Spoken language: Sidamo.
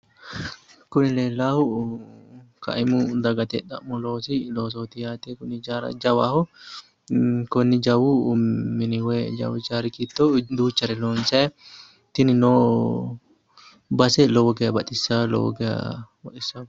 kuni leellaahu kaimu dagate xa'mo loosi loosooti yaate kuni ijaara jawaho konnni jawu mini woyi ijaari giddo duuchare loonsanni tinino base lowo geya baxissanno lowo geya baxissanno.